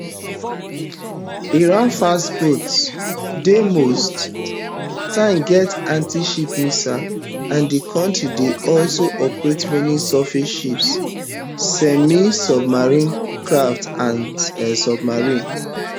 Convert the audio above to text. iran fast boats dey most times get antiship missiles and di kontri dey also operate many surface ships semisubmersible craft and submarines